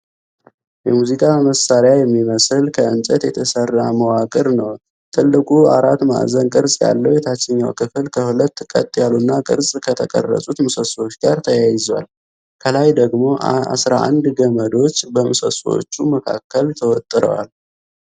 የሙዚቃ መሣሪያ የሚመስል ከእንጨት የተሠራ መዋቅር ነው። ትልቁ አራት ማዕዘን ቅርጽ ያለው የታችኛው ክፍል ከሁለት ቀጥ ያሉና ቅርጽ ከተቀረጹት ምሰሶዎች ጋር ተያይዟል፤ ከላይ ደግሞ አሥራ አንድ ገመዶች በምሰሶዎቹ መካከል ተወጥረዋል።